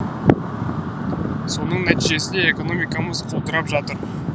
соның нәтижесінде экономикамыз құлдырап жатыр